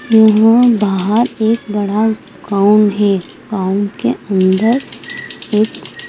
यहां बाहर एक बड़ा गांव है गांव के अंदर एक--